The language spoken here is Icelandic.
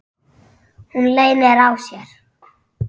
Hún leynir á sér.